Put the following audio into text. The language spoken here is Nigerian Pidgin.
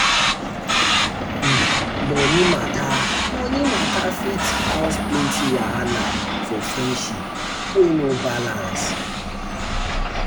um moni mata um moni mata fit um cause um plenty wahala for friendship wey no balance.